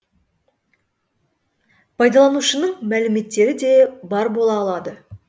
пайдаланушының мәліметтері де бар бола алады